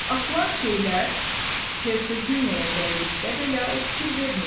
Atılan şeylər Hersoginyaya dəydikdə belə o fikir vermirdi.